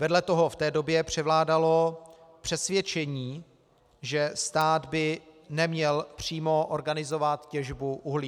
Vedle toho v té době převládalo přesvědčení, že stát by neměl přímo organizovat těžbu uhlí.